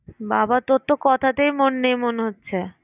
বাবা! তোর কথাতেই মন নেই মনে হচ্ছে।